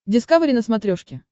дискавери на смотрешке